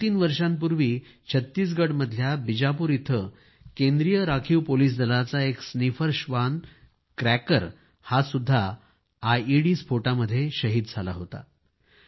दोनतीन वर्षापूर्वी छत्तीसगडमधल्या बीजापूर इथं केंद्रीय राखीव पोलिस दलाचा एक स्नीफरश्वान क्रॅकर हा सुद्धा आयईडी स्फोटामध्ये शहीद झाला होता